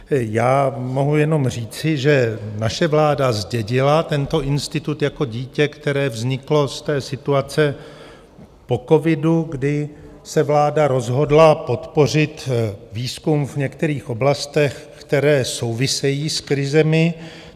Já mohu jenom říci, že naše vláda zdědila tento institut jako dítě, které vzniklo z té situace po covidu, kdy se vláda rozhodla podpořit výzkum v některých oblastech, které souvisejí s krizemi.